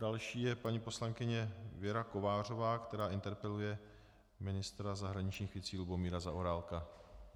Další je paní poslankyně Věra Kovářová, která interpeluje ministra zahraničních věcí Lubomíra Zaorálka.